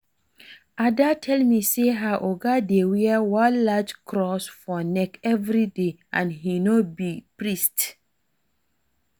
Ada tell me say her oga dey wear one large cross for neck everyday and he no be priest